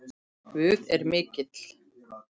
Guð er mikill.